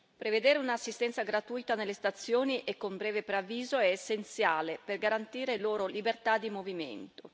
Prevedere un'assistenza gratuita nelle stazioni e con breve preavviso è essenziale per garantire loro libertà di movimento.